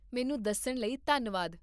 ਮੈਨੂੰ ਦੱਸਣ ਲਈ ਧੰਨਵਾਦ